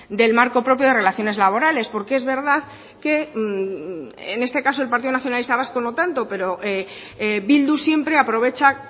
del marco propio de relaciones laborales porque es verdad que en este caso el partido nacionalista vasco no tanto pero bildu siempre aprovecha